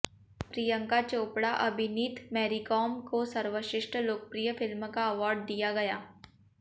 प्रियंका चोपड़ा अभिनीत मैरीकाॅम काे सर्वश्रेष्ठ लोकप्रिय फिल्म का अावार्ड दिया गया